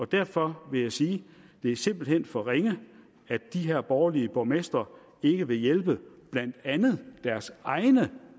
derfor vil jeg sige det er simpelt hen for ringe at de her borgerlige borgmestre ikke vil hjælpe blandt andet deres egne